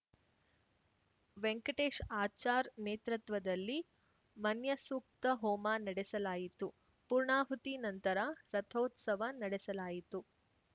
ವೆಂಕಟೇಶ್‌ ಆಚಾರ್‌ ನೇತೃತ್ವದಲ್ಲಿ ಮನ್ಯಸೂಕ್ತ ಹೋಮ ನಡೆಸಲಾಯಿತು ಪೂರ್ಣಾಹುತಿ ನಂತರ ರಥೋತ್ಸವ ನಡೆಸಲಾಯಿತು